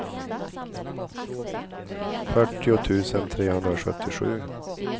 fyrtio tusen trehundrasjuttiosju